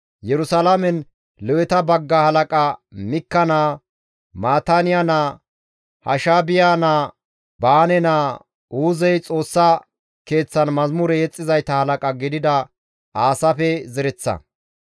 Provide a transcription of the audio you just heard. Yerusalaamen Leweta bagga halaqa Mikka naa, Maataaniya naa, Hashaabiya naa, Baane naa, Uuzey Xoossa Keeththan mazamure yexxizayta halaqa gidida Aasaafe zereththa.